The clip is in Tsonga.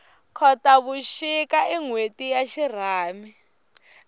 khotavuxika i nhweti ya xirhami